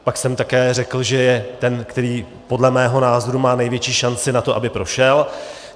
Pak jsem také řekl, že je ten, který podle mého názoru má největší šanci na to, aby prošel.